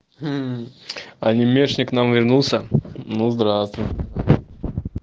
мм анимешник к нам вернулся ну здравствуй